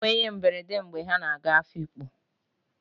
Ha nwere íhé mberede mgbe ha na-aga Afikpo.